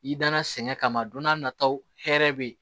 I danna sɛgɛn kama don n'a nataw hɛrɛ be yen